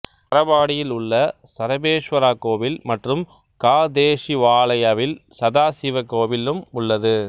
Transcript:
சரபாடியில் உள்ள சரபேசுவரா கோயில் மற்றும் காதேஷிவாலயவில் சதாசிவ கோயிலும் உள்ளது